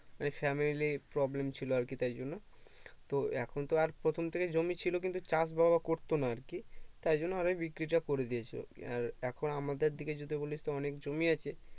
মানে Family problem ছিল আর কি তার জন্য তো এখন তো আর প্রথম থেকে জমি ছিল কিন্তু চাষ বাবা করতো না আরকি তাই জন্য আরো বিক্রি টা করেই দিয়েছে আর এখন আমাদের দিকে যদি বলিস তো অনেক জমি আছে